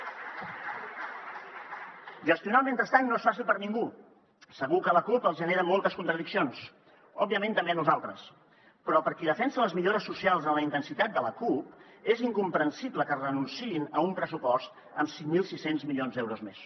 gestionar el mentrestant no és fàcil per a ningú segur que a la cup els genera moltes contradiccions òbviament també a nosaltres però per a qui defensa les millores socials amb la intensitat de la cup és incomprensible que renunciï a un pressupost amb cinc mil sis cents milions d’euros més